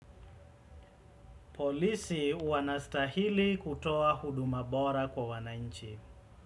Polisi wanastahili kutoa huduma bora kwa wanainchi.